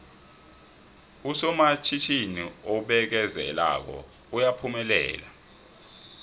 usomatjhinini obekezelako uyaphumelela